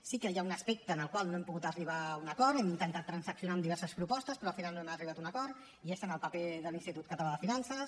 sí que hi ha un aspecte en el qual no hem pogut arribar a un acord hem intentat transaccionar amb diverses propostes però al final no hem arribat a un acord i és en el paper de l’institut català de finances